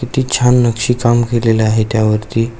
किती छान नक्षी काम केलेलं आहे त्या वरती.